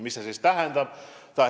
Mida see tähendab?